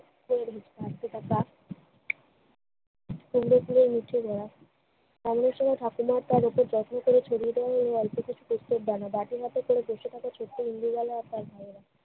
কুমড়ো ফুলের মুঠি ধরা অন্যের সঙ্গে ফাতেমা আপার এত যত্ন করে ছড়িয়ে দেওয়া ইন্দুবালা আর তার দল।